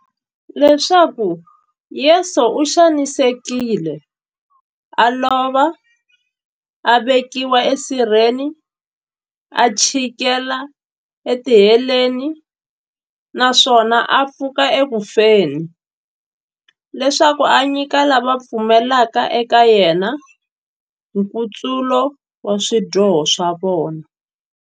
Leswaku Yesu u xanisekile, a lova, a vekiwa e sirheni, a chikela e tiheleni, naswona a pfuka eku feni, leswaku a nyika lava va pfumelaka eka yena, nkutsulo wa swidyoho swa vona.